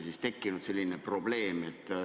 See on olnud probleem.